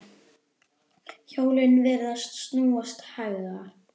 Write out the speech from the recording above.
Hjólin virðast snúast hægar.